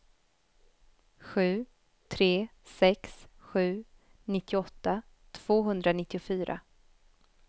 sju tre sex sju nittioåtta tvåhundranittiofyra